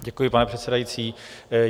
Děkuji, pane předsedající.